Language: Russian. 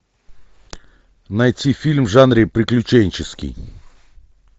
найти фильм в жанре приключенческий